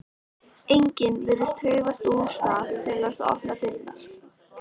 Enginn virðist hreyfast úr stað til að opna dyrnar.